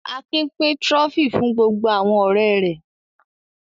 Akin pín Trophy fún gbogbo àwọn ọ̀rẹ́ rẹ̀.